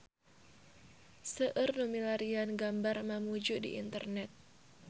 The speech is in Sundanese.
Seueur nu milarian gambar Mamuju di internet